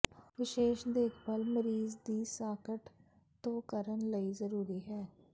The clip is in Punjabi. ਵਿਸ਼ੇਸ਼ ਦੇਖਭਾਲ ਮਰੀਜ਼ ਦੀ ਸਾਕਟ ਧੋ ਕਰਨ ਲਈ ਜ਼ਰੂਰੀ ਹੈ